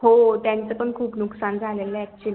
हो त्याच पण खूप नुस्कान झालेलं ये actually